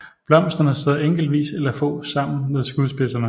Blomsterne sidder enkeltvis eller få sammen ved skudspidserne